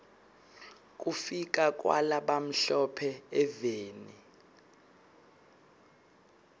kufika kwala bamhlo phe eveni